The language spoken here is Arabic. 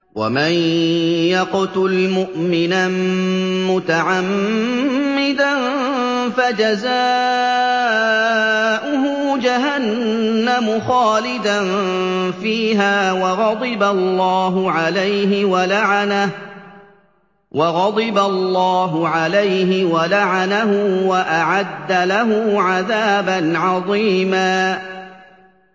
وَمَن يَقْتُلْ مُؤْمِنًا مُّتَعَمِّدًا فَجَزَاؤُهُ جَهَنَّمُ خَالِدًا فِيهَا وَغَضِبَ اللَّهُ عَلَيْهِ وَلَعَنَهُ وَأَعَدَّ لَهُ عَذَابًا عَظِيمًا